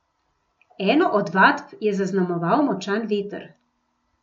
Eno od vadb je zaznamoval močan veter.